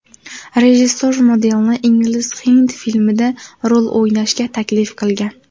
Rejissor modelni ingliz-hind filmida rol o‘ynashga taklif qilgan.